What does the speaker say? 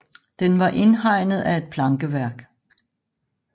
Den var indhegnet af et plankeværk